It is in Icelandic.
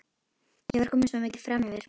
Ég var komin svo mikið framyfir.